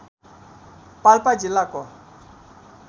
पाल्पा जिल्लाको